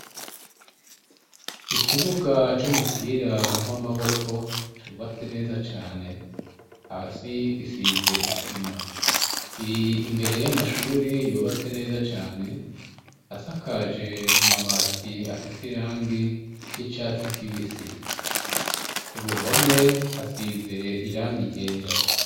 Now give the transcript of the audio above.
Ikibuga c'umupira w'amaboko cubatse neza cane, hasi gisize isima. Kiri imbere y'amashure yubatse neza cane asakaje amabati afise irangi ry'icatsi kibisi. Ku ruhome hasize irangi ryera.